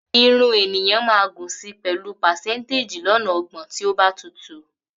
Irun ènìyàn máa gùn si pẹ̀lú pàsẹ́ńtéjì lọ́nà ọgbọ̀n tí ó bá tutù